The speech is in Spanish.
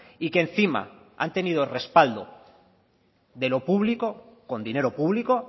y que encima han tenido respaldo de lo público con dinero público